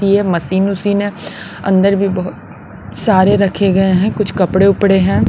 की है मशीन उशीन है अंदर भी बहुत सारे रखे गए हैं कुछ कपड़े उपड़े हैं।